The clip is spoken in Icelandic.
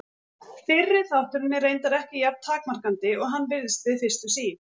Fyrri þátturinn er reyndar ekki jafn takmarkandi og hann virðist við fyrstu sýn.